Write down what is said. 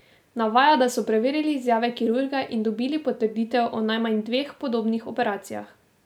Navaja, da so preverili izjave kirurga in dobili potrditev o najmanj dveh podobnih operacijah.